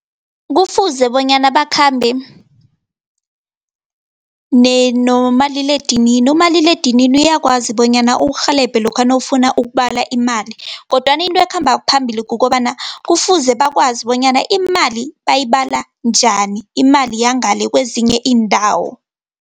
Kufuze bonyana bakhambe nomaliledinini, umaliledinini uyakwazi bonyana ukurhelebhe lokha nawufuna ukubala imali, kodwana into ekhamba phambili kukobana kufuze bakwazi bonyana imali bayibala njani, imali yangale kezinye iindawo.